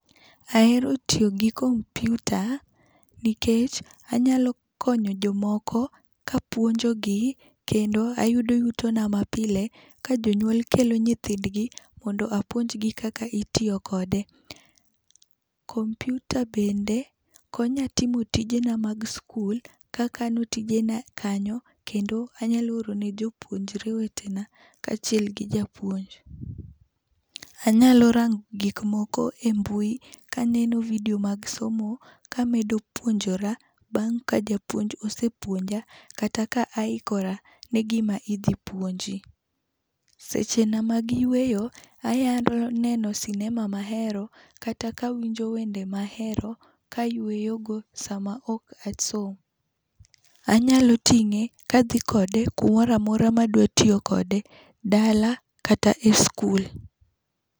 Ahero tiyo gi kompiuta nikech anyalo konyo jomoko kapuonjogi kendo ayudo yutona mapile., kajonyuol kelo nyithindgi mondo apuonjgi kaka nitiyo kode. Kompiuta bende konya timo tijena mag sikul kakano tijena kanyo kendo anyalo oro ne jopuonjre wetena kaachiel gi japuonj. Anyalo rango gik moko embui, kaneno vidio mag somo kamedo puonjora bang' ka japuonj ose puonja kata ka aikora negima idhi puonji. Sechena mag yueyo, anyalo neno sinema mahero kata kawinjo wende mahero kayueyogo sama ok asom. Anyalo ting'e kadhi kode kumoro amora ma adwaro tiyo kode, dala kata e skul.